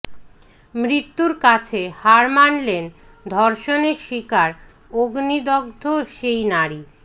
মৃত্যুর কাছে হার মানলেন ধর্ষণের শিকার অগ্নিদগ্ধ সেই নারী